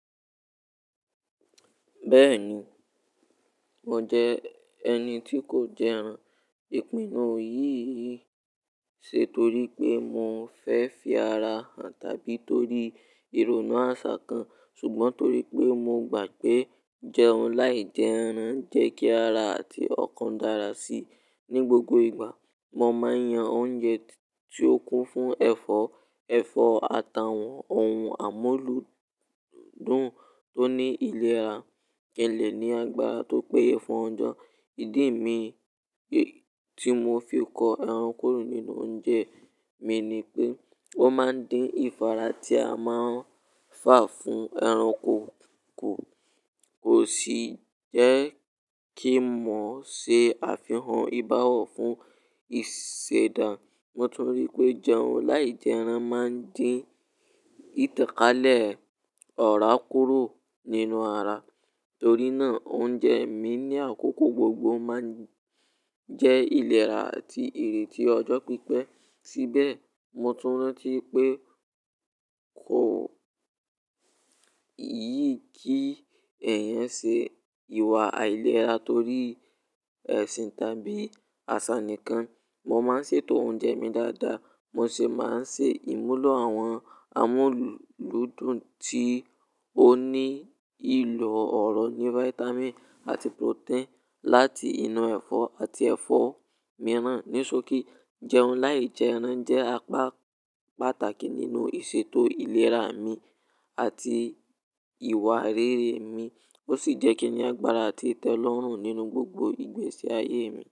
Bẹ́ẹ̀ni, mo jẹ ẹni tí kò jẹ ẹran ìpinnu yìí ṣe torí pé mo fẹ́ fi ara hàn tàbí torí ìrònú àṣà kan. Ṣùgbọ́n torí pé mo gbàgbé jẹun láì jẹ ẹran jẹ́ kí ara àti ọkàn dára si. Ni gbogbo ìgbà, mo máa ń yan oúnjẹ tí ó kún fún ẹ̀fọ́, ẹ̀fọ́, ata, àwọn ohun àmúludùn tó ní ilera ki n le ní agbára tó péye fún ọjọ́. Ìdí mi tí mo fi kọ ẹran kúrò nínú oúnjẹ mi ni pé, ó máa ń dín ìfarà tí a máa ń fà fún ẹranko kù. Kò sì jẹ́ kí mo ṣe àfihàn ìbáwọ̀ fún ìṣẹ̀dá. Mo tún rí i pé jẹun láì jẹ ẹran máa ń dín ìtànkálẹ̀ ọ̀rá kúrò nínú ara. Torí náà oúnjẹ mi ní àkókò gbogbo máa ń jẹ́ ìlera àti èrè tí ọjọ́ pípẹ́. Síbẹ̀ mo tún rántí pé kò yí kí ẹ̀yàn ṣe ìwà àìlera torí ẹ̀sìn tàbí àṣà nìkan. Mo máa ń ṣètò oúnjẹ mi dáadáa, mo sì máa ń ṣe ìmúlò àwọn amúlùdùn tí ó ní ìlò ọ̀rọ̀ ní fáítámì àti protein láti inú ẹ̀fọ́ àti ẹ̀fọ́ mìíràn. Ní sókí, jẹun láì jẹ ẹran jẹ́ apá pàtàkì nínú ìṣètò ìlera mi àti ìwà rere mi. Ó sì jẹ́ kí ní agbára àti tẹ́lọ́rùn nínú gbogbo ìgbésí ayé mi.